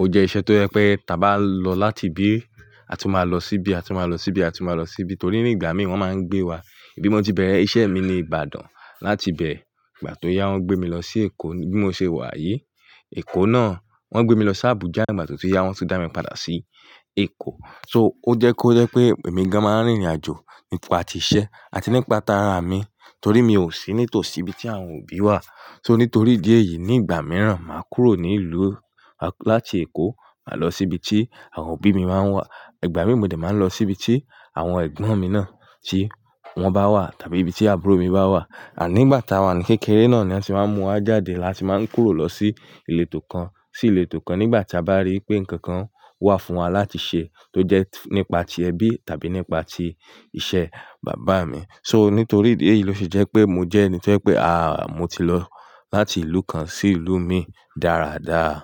ó jẹ́ iṣẹ́ tó jẹ́ pé tí a bá lọ láti bí a tún máa lọ síbí, a tún máa lọ síbí, a tún máa lọ síbí torí ní ìgbà mí wọ́n máa ń gbé wa. Ibi mo ti bẹ̀rẹ̀ iṣẹ́ mi ni Ìbàdàn, láti bẹ ìgbà tó yá wọ́n gbé mi lọ sí Èkó bí mo ṣe wà yi. Èkó náà wọ́n gbé mi lọ sí Àbújá, nígbà tó tí yá wọ́n tún dá mi padà sí Èkó. So ó jẹ́ kó yẹ pé èmi gan máa ń rìnrìn àjò nípa ti iṣẹ́ àti nípa ara mi torí mi ò sí nítòsí ibi tí àwọn òbí wà. So nítorí ìdí èyí ní ìgbà mìíràn máa kúrò ní ìlú láti Èkó máa lọ síbi tí àwọn òbí mi máa ń wà. Ìgbà mìíràn mo dẹ̀ máa ń lọ síbi tí àwọn ẹ̀gbọ́n mi náà tí wọ́n bá wà tàbí ibi tí àbúrò mi bá wà. Àní ìgbà tá a wà ní kékeré náà ni a ti máa ń mú wa jáde la ti máa ń kúrò lọ sí ìletò kan sí ìletò kan nígbà tí a bá rí pé nǹkan kan wà fún wa láti ṣe tó jẹ́ nípa ti ẹbí tàbí nípa tí iṣẹ́ bàbá mi. So nítorí ìdí èyí ló ṣe jẹ́ pé mo jẹ́ ẹni tí ẹ pé a mo ti lọ láti ìlú kan sí ìlú mí dáadáa.